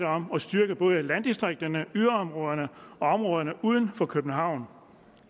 om at styrke landdistrikterne yderområderne og områderne uden for københavn